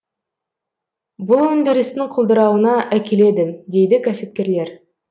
бұл өндірістің құлдырауына әкеледі дейді кәсіпкерлер